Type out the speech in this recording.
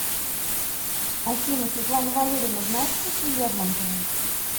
афина светлана валерьевна знает стихи лермонтова